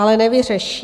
Ale nevyřeší.